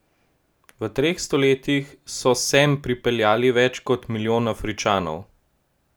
V treh stoletjih so sem pripeljali več kot milijon Afričanov.